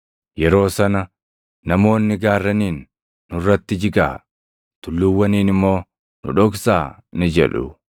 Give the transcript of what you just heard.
Yeroo sana, “ ‘Namoonni gaarraniin, “Nurratti jigaa!” tulluuwwaniin immoo, “Nu dhoksaa!” + 23:30 \+xt Hos 10:8\+xt* ni jedhu.’